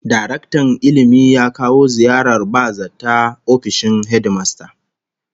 Daraktan Ilmi ya kawo ziyarar ba-zata ofishin hedimasta